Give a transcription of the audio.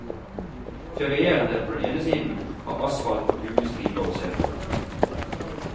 Ferierende på den ene siden har asfalt og gule striper å se på.